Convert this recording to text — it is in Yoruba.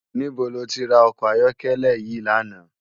Nibó ló ti rá òkò àyòkèlè yi làná?